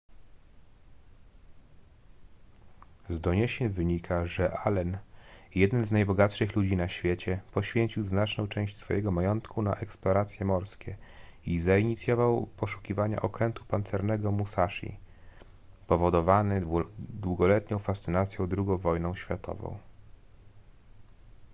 z doniesień wynika że allen jeden z najbogatszych ludzi na świecie poświęcił znaczną część swojego majątku na eksploracje morskie i zainicjował poszukiwania okrętu pancernego musashi powodowany długoletnią fascynacją ii wojną światową